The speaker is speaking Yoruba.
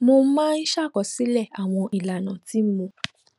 mo máa ń ṣàkọsílè àwọn ìlànà tí mo